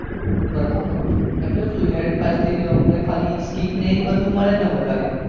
બરાબર એટલે શું elite પાસ થી આપણે scheme ને બધું મળે ને વધારે.